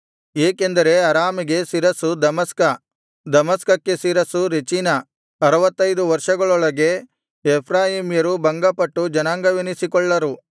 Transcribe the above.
ಏಕೆಂದರೆ ಅರಾಮಿಗೆ ಶಿರಸ್ಸು ದಮಸ್ಕ ದಮಸ್ಕಕ್ಕೆ ಶಿರಸ್ಸು ರೆಚೀನ ಅರುವತ್ತೈದು ವರ್ಷಗಳೊಳಗೆ ಎಫ್ರಾಯೀಮ್ಯರು ಭಂಗಪಟ್ಟು ಜನಾಂಗವೆನ್ನಿಸಿಕೊಳ್ಳರು